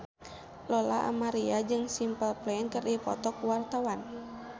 Lola Amaria jeung Simple Plan keur dipoto ku wartawan